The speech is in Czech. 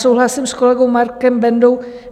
Souhlasím s kolegou Markem Bendou.